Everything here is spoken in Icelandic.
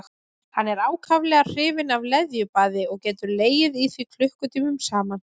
Hann er ákaflega hrifinn af leðjubaði og getur legið í því klukkutímum saman.